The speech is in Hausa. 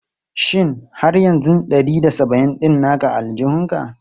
Shin har yanzu ɗari da saba'in ɗin naka a aljihunka?